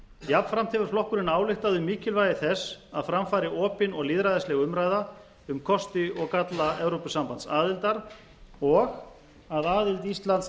jafnframt hefur flokkurinn ályktað um mikilvægi þess að fram fari opin og lýðræðisleg umræða dóm kosti og galla evrópusambandsaðildar og að aðild íslands